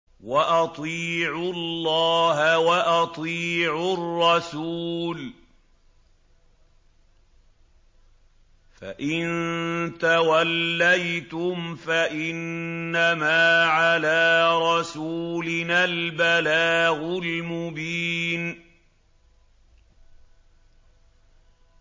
وَأَطِيعُوا اللَّهَ وَأَطِيعُوا الرَّسُولَ ۚ فَإِن تَوَلَّيْتُمْ فَإِنَّمَا عَلَىٰ رَسُولِنَا الْبَلَاغُ الْمُبِينُ